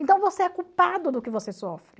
Então você é culpado do que você sofre.